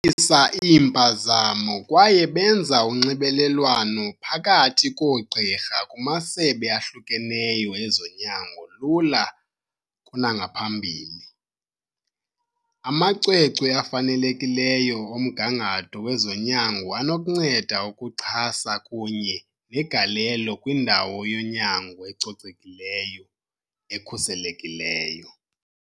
Nciphisa iimpazamo kwaye benza unxibelelwano phakathi koogqirha kumasebe ahlukeneyo ezonyango lula kunangaphambili. Amacwecwe afanelekileyo omgangatho wezonyango anokunceda ukuxhasa kunye negalelo kwindawo yonyango ecocekileyo, ekhuselekileyo.